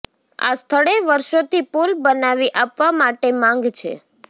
આ સ્થળે વર્ષોથી પૂલ બનાવી આપવા માટે માંગ છે